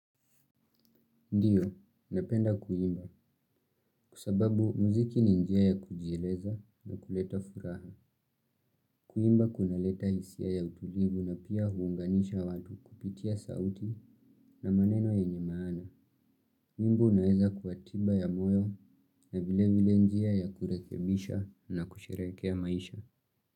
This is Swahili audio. Ndiyo, napenda kuimba. Kwa sababu muziki ni njia ya kujieleza na kuleta furaha. Kuimba kunaleta hisia ya utulivu na pia huunganisha watu kupitia sauti na maneno yenye maana. Nyimbo inaweza kuwa tiba ya moyo na vile vile njia ya kurekebisha na kusherekea maisha.